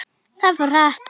Það fór hratt.